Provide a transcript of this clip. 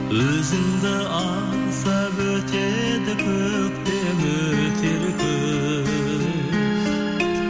өзіңді аңсап өтеді көктем өтер күз